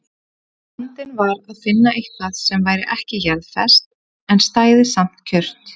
Vandinn var að finna eitthvað sem væri ekki jarðfast en stæði samt kjurt.